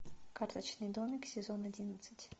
карточный домик сезон одиннадцать